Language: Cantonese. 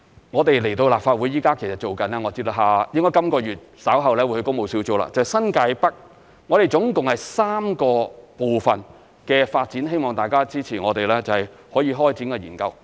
我們會就新界北發展到立法會，我知道本月稍後會去工務小組，就是新界北合共3個部分的發展，希望大家支持我們可以開展研究。